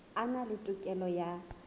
a na le tokelo ya